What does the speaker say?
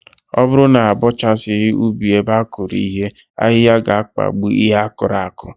Ọ bụrụ na abọchasịghị ubi ebe a kụrụ ihe, ahịhịa ga-akpagbu ihe a kụrụ akụ